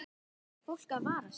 Þarf fólk að vara sig?